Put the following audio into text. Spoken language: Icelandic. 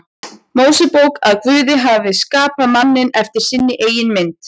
Mósebók að Guð hafi skapað manninn eftir sinni eigin mynd.